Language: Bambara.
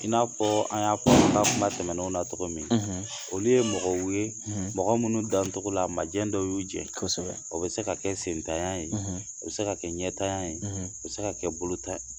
I n'a fɔ an y'a kuma tɛmɛnenw na cɔgɔ min, olu ye mɔgɔw ye mɔgɔ minnu dancɔgɔ la majɛ dɔw y'u jɛ, kosɛbɛ, o bɛ se ka kɛ senntanya ye, o bɛ se ka kɛ ɲɛntanya ye, o bɛ se ka kɛ bolontan